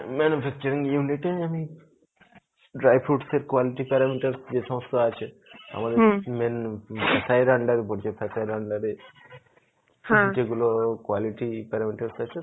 manufacturing unit এই আমি dry food এর quality parameter যে সমস্ত আছে আমাদের main উপর under এ যেগুলো quality parameter আছে